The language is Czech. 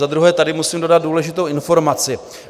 Za druhé tady musím dodat důležitou informaci.